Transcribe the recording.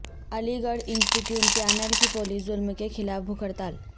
علی گڑھ students panel کی police ظلم کیخلاف بھوک ہڑتال